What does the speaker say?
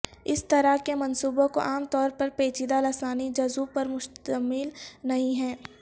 اس طرح کے منصوبوں کو عام طور پر پیچیدہ لسانی جزو پر مشتمل نہیں ہے